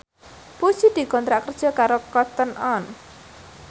Puji dikontrak kerja karo Cotton On